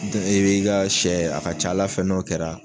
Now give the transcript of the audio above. Dɔ i b'i ka sɛ a ka ca Ala fɛ n'o kɛra